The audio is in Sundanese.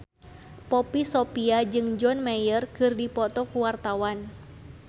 Poppy Sovia jeung John Mayer keur dipoto ku wartawan